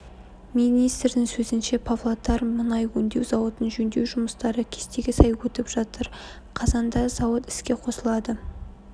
министрдің сөзінше павлодар мұнай өңдеу зауытын жөндеу жұмыстары кестеге сай өтіп жатыр қазанда зауыт іске қосылады